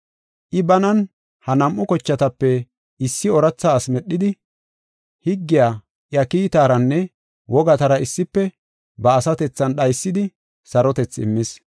I banan ha nam7u kochatape issi ooratha ase medhidi, higgiya iya kiitaranne wogatara issife ba asatethan dhaysidi sarotethi immis.